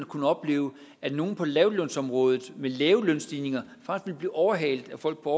kunne opleve at nogle på lavtlønsområdet med lave lønstigninger faktisk ville blive overhalet af folk på